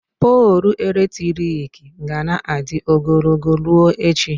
Poolụ eletrik ga na-adị ogologo ruo echi.